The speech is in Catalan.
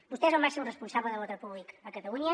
vostè és el màxim responsable de l’ordre públic a catalunya